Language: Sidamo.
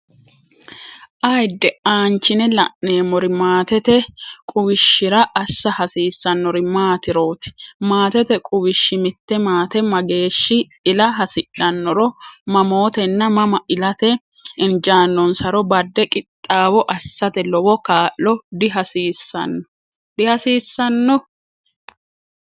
Ayidde! aanchine la’neemmori, maatete quwishshira assa hasiissannori maatiroot Maatete quwishshi mitte maate mageeshshi ila hasidhannoro, mamootenna mama ilate injaannonsaro badde qixxaawo assate lowo kaa’lo dihaasisano?